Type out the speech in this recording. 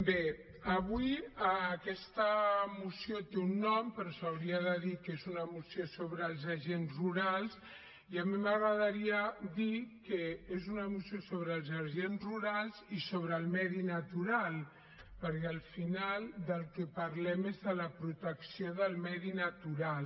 bé avui aquesta moció té un nom però s’hauria de dir que és una moció sobre els agents rurals i a mi m’agradaria dir que és una moció sobre els agents rurals i sobre el medi natural perquè al final del que parlem és de la protecció del medi natural